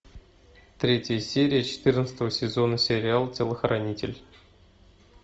третья серия четырнадцатого сезона сериал телохранитель